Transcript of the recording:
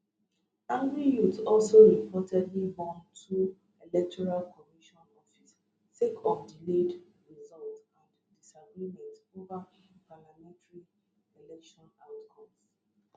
angry youths also reportedly burn two electoral commission offices sake of delayed results and disagreements ova parliamentary election outcomes